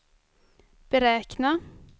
beräkna